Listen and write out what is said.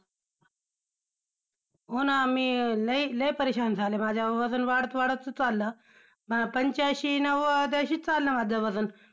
हो ना! मी लय, लय परेशान झाले, माझ्या वजन वाढत वाढतच चाललं, मला पंच्याऐंशी नव्वद असेच चालू आहे माझं वजन.